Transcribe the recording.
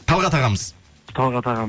талғат ағамыз талғат ағам